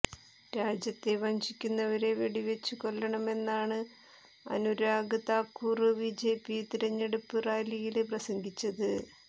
രാജ്യത്തെ വഞ്ചിക്കുന്നവരെ വെടിവച്ചു കൊല്ലണമെന്നാണ് അുരാഗ് താക്കൂര് ബിജെപി തിരഞ്ഞെടുപ്പ് റാലിയില് പ്രസംഗിച്ചത്